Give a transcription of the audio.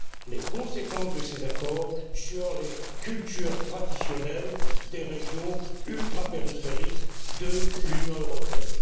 des conséquences de ces accords sur les cultures traditionnelles des régions ultrapériphériques de l'Union européenne.